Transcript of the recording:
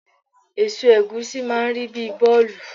Èso ẹ̀gúsí máà ń rí bíi bọ́ọ̀lù